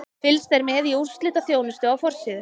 Fylgst er með í úrslitaþjónustu á forsíðu.